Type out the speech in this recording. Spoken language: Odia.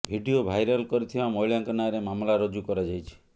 ଭିଡିଓ ଭାଇରାଲ୍ କରିଥିବା ମହିଳାଙ୍କ ନାଁରେ ମାମଲା ରୁଜୁ କରାଯାଇଛି